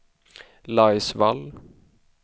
Laisvall